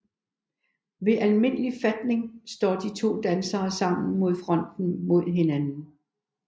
Ved almindelig fatning står de to dansere sammen med fronten mod hinanden